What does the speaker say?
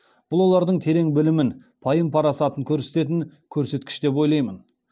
бұл олардың терең білімін пайым парасатын көрсететін көрсеткіш деп ойлаймын